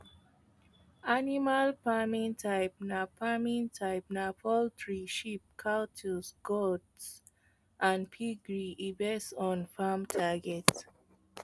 animal farming types na farming types na poultry sheep cattle goats and piggery e base on farm target